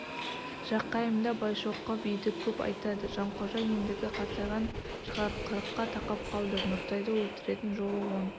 жақайымда байшоқы биді көп айтады жанқожа ендігі қартайған шығар қырыққа тақап қалды нұртайды өлтіретін жолы он